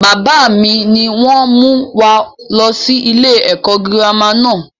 Bàbá mi ni wọn mú wá lọ sí ilé ẹ̀kọ́ girama náà.